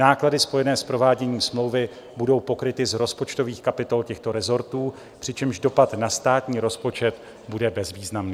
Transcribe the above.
Náklady spojené s prováděním smlouvy budou pokryty z rozpočtových kapitol těchto resortů, přičemž dopad na státní rozpočet bude bezvýznamný.